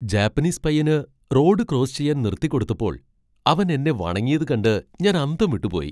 Japanese പയ്യന് road cross ചെയ്യാൻ നിർത്തിക്കൊടുത്തപ്പോൾ അവൻ എന്നെ വണങ്ങിയത് കണ്ട് ഞാൻ അന്തം വിട്ടുപോയി.